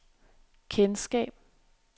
kendskab